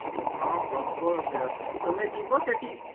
ହଁ ପ୍ରବଳ ଭିଡ ତମେ ଯିବ ସେଠି